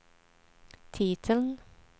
titeln